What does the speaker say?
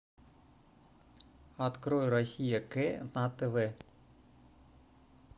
открой россия к на тв